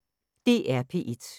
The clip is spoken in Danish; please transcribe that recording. DR P1